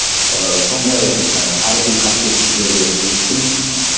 ыыы сондай ы тарихи қасиетті жерде өстім ыыы